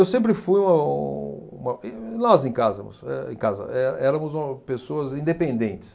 Eu sempre fui um uma, e nós em casamos, eh em casa, éramos o pessoas independentes.